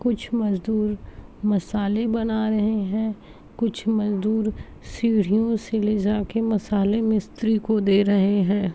कुछ मजदूर मसाले बना रहे हैं। कुछ मजदूर सीढ़ियों से लेजा के मसाले मिस्त्री को दे रहे हैं।